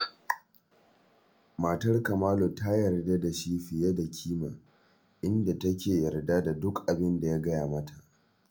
Matar Kamalu ta yarda da shi fiye da kima, inda take yarda da duk abin da ya gaya mata